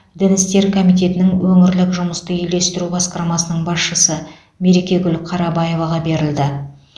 дін істері комитетінің өңірлік жұмысты үйлестіру басқармасының басшысы мерекегүл қарабаеваға берілді